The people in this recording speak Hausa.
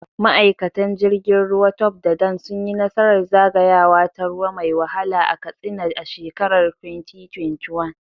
Ma’aikatan jirgin ruwa Tope da Dan sun yi nasarar zagayawa ta ruwa mai wahala a Katsina a shekarar 2021.